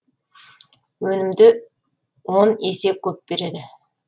өнімді он есе көп береді